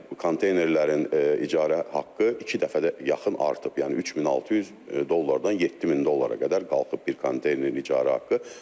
Yəni konteynerlərin icara haqqı iki dəfədənə yaxın artıb, yəni 3600 dollardan 7000 dollara qədər qalxıb bir konteynerin icara haqqı.